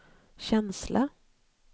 känsla